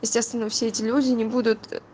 естественно все эти люди не будут